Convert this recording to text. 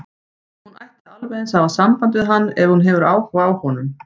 Hún ætti alveg eins að hafa samband við hann ef hún hefur áhuga á honum.